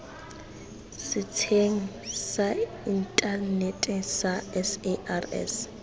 setsheng sa inthanete sa sars